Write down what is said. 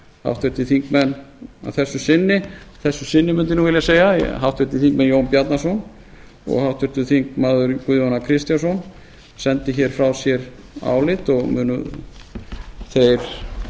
háttvirtir þingmenn að þessu sinni mundi ég vilja segja háttvirtur þingmaður jón bjarnason og háttvirtir þingmenn guðjón a kristjánsson sendu frá sér álit og munu þeir